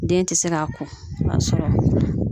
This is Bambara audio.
Den tɛ se k'a ko i b'a sɔrɔ